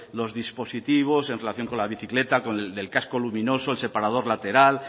los dispositivos en relación con la bicicleta del casco luminoso el separador lateral